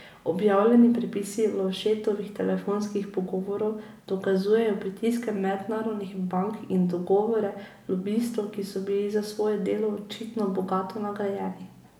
Objavljeni prepisi Lovšetovih telefonskih pogovorov dokazujejo pritiske mednarodnih bank in dogovore lobistov, ki so bili za svoje delo očitno bogato nagrajeni.